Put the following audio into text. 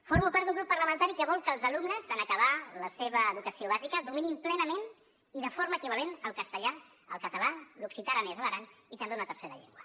formo part d’un grup parlamentari que vol que els alumnes en acabar la seva educació bàsica dominin plenament i de forma equivalent el castellà el català l’occità aranès a l’aran i també una tercera llengua